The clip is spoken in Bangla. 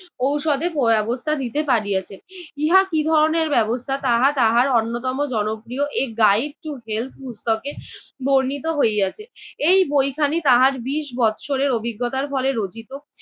ঔষধের ব্যবস্থা দিতে পারিয়াছেন। ইহা কী ধরনের ব্যবস্থা তাহা তাহার অন্যতম জনপ্রিয় A Guide To Health পুস্তকে বর্ণিত হইয়াছে। এই বইখানি তাহার বিশ বছরের অভিজ্ঞতার ফলে রচিত